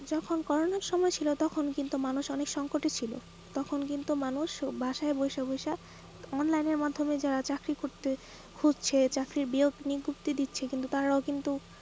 যখন করোনা আর সময় ছিল তখন কিন্তু মানুষ অনেক সংকটে ছিল তখন কিন্তু মানুষ বাসায় বসা বসা online আর মাধ্যমে যারা চাকরি করতে খুঁজছে চাকরির বিয়োগ নিকুর্তি দিচ্ছে।